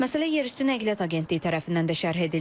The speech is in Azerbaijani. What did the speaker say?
Məsələ yerüstü nəqliyyat agentliyi tərəfindən də şərh edildi.